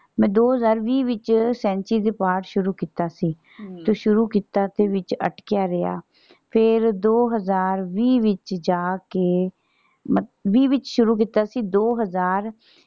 ਮੈਂ ਦੋ ਹਜ਼ਾਰ ਵੀਹ ਵਿੱਚ ਸੈਂਚੀ ਚ ਪਾਠ ਸ਼ੁਰੂ ਕੀਤਾ ਸੀ ਤੇ ਸ਼ੁਰੂ ਕੀਤਾ ਸੀ ਤੇ ਵਿੱਚ ਅਟਕਿਆ ਰਿਹਾ ਤੇ ਦੋ ਹਜ਼ਾਰ ਵੀਹ ਵਿੱਚ ਜਾ ਕੇ ਵੀਹ ਵਿੱਚ ਸ਼ੁਰੂ ਕੀਤਾ ਸੀ ਦੋ ਹਜ਼ਾਰ।